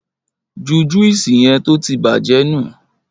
Jú júwùsí yen tótì bàjẹ nú!